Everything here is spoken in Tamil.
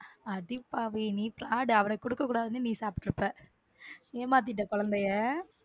அடிப்பாவி நீ பிராடு அவனுக்கு கொடுக்கக் கூடாதுன்னு நீ சாப்பிட்டு இருப்ப ஏமாத்திட்டா குழந்தையை.